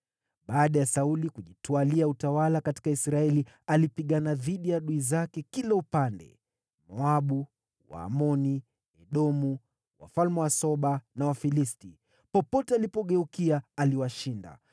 Baada ya Sauli kujitwalia utawala katika Israeli, alipigana dhidi ya adui zake kila upande: Moabu, Waamoni, Edomu, wafalme wa Soba, na Wafilisti. Popote alipogeukia, aliwashinda.